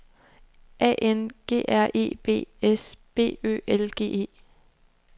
A N G R E B S B Ø L G E